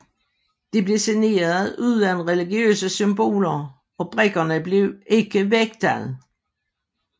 De blev designet uden religiøse symboler og brikkerne blev ikke vægtet